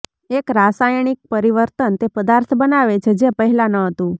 એક રાસાયણિક પરિવર્તન તે પદાર્થ બનાવે છે જે પહેલાં ન હતું